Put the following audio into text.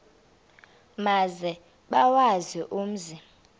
maze bawazi umzi